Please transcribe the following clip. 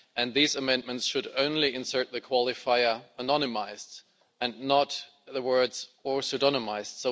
These amendments should only insert the qualifier anonymised' and not the words or pseudonymised'.